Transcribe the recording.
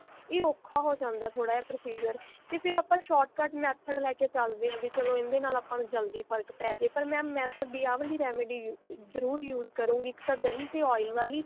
ਇਹ ਔਖਾ ਹੋ ਜਾਂਦਾ ਥੋੜਾ ਜਿਹਾ procedure ਤੇ ਆਪਾਂ ਫੇਰ short cut method ਲੈਕੇ ਚੱਲਦੇ ਹਾਂ ਵੀ ਚਲੋ ਇਹਦੇ ਨਾਲ ਆਪਾਂ ਨੂੰ ਜਲਦੀ ਫਰਕ਼ ਪੈਜੇ ਪਰ mam ਮੈਂ ਤੁਹਾਡੀ ਆਹ ਵਾਲੀ remedy ਜਰੂਰ use ਕਰੁਂਗੀ ਇੱਕ ਤਾਂ ਦਹੀਂ ਤੇ oil ਵਾਲੀ